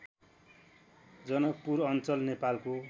जनकपुर अञ्चल नेपालको